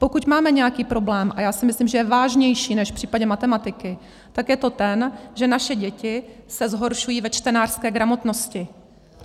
Pokud máme nějaký problém, a já si myslím, že je vážnější než v případě matematiky, tak je to ten, že naše děti se zhoršují ve čtenářské gramotnosti.